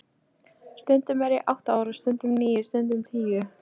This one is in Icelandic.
Stundum er ég átta ára, stundum níu, stundum tíu.